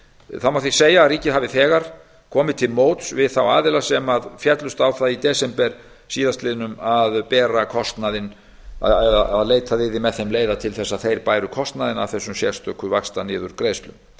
það má því segja að ríkið hafi þegar komið til móts við þá aðila sem féllust á það í desember síðastliðnum að leitað yrði með þeim leiða til að þeir bæru kostnaðinn af þessum sérstöku vaxtaniðurgreiðslum